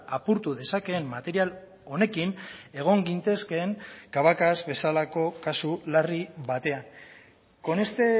apurtu dezakeen material honekin egon gintezkeen cabacas bezalako kasu larri batean con este